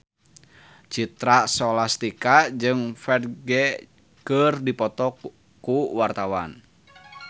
Citra Scholastika jeung Ferdge keur dipoto ku wartawan